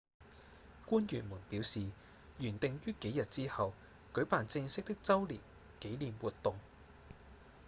官員們表示原訂於幾日之後舉辦正式的週年紀念活動